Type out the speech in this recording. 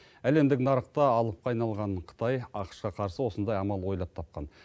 әлемдік нарықта алыпқа айналған қытай ақш қа қарсы осындай амал ойлап тапқан